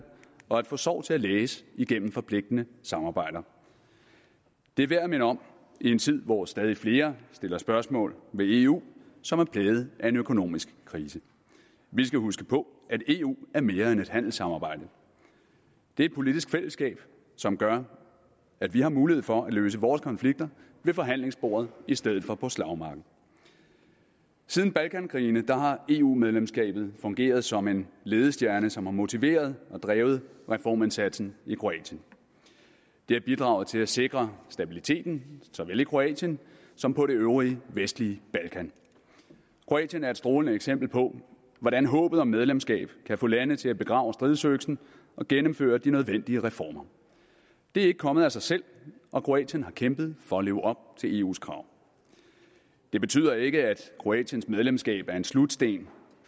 og at få sorg til at læges igennem forpligtende samarbejder det er værd at minde om i en tid hvor stadig flere stiller spørgsmål ved eu som er plaget af en økonomisk krise vi skal huske på at eu er mere end et handelssamarbejde det er et politisk fællesskab som gør at vi har mulighed for at løse vores konflikter ved forhandlingsbordet i stedet for på slagmarken siden balkankrigene har eu medlemskabet fungeret som en ledestjerne som har motiveret og drevet reformindsatsen i kroatien det har bidraget til at sikre stabiliteten såvel i kroatien som på det øvrige vestlige balkan kroatien er et strålende eksempel på hvordan håbet om medlemskab kan få lande til at begrave stridsøksen og gennemføre de nødvendige reformer det er ikke kommet af sig selv og kroatien har kæmpet for at leve op til eus krav det betyder ikke at kroatiens medlemskab er en slutsten